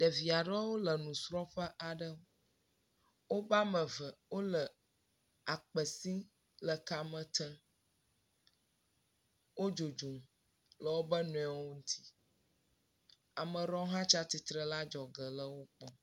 Ɖevia ɖewo le nusrɔ̃ƒe aɖe. woƒe ame ve wole akpe sim le kame tem. Wodzodzom le woƒe nɔewo ŋuti. Ama ɖewo hã tsi atsitre le adzɔge le wo kpɔm.